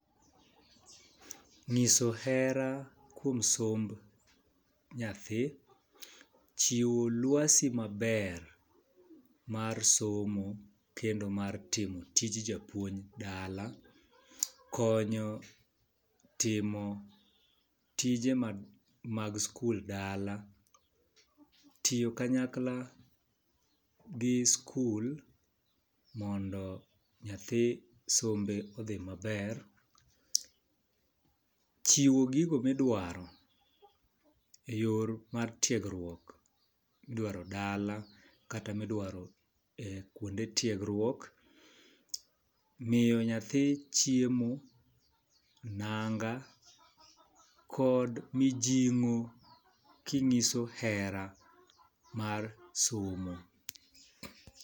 Ng'iso hera kuom somb nyathi, chiwo lwasi maber mar somo kendo mar timo tij japuonj dala, konyo timo tije mag mag skul dala , tiyo kanyakla gi skul mondo nyathi sombe odhi maber, chiwo gigo midwaro e yor mar tiegruok , midwaro dala kata midwaro kuonde tiegruok , miyo nyathi chiemo, nanga kod mijing'o kinyiso hera mar somo.